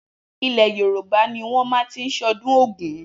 Ilẹ̀ Yorùbá ni wọ́n má ti ń ṣe ọdún Ògún